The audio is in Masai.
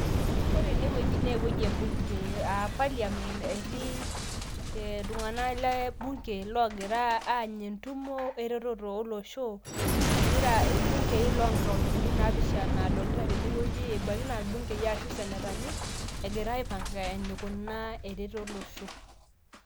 Ore enewueji naa ewueji e bunge aa parliament etii ee iltung'anak le bunge loogira aany'a entumo eretoto olosho, egira irbungei loonkauntini naapishana adolita tenewueji ebaiiki naa irbungei arashu isenetani, egira aipanga enikunaa eretoto olosho.